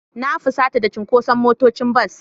Na fusata da cunkoson motocin bas.